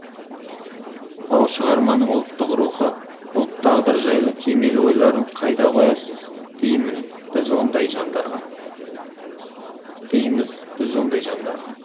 ад шығарманың ұлттық рухы ұлт тағдыры жайлы кемел ойларын қайда қоясыз дейміз біз ондай жандарға